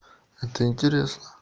это интересно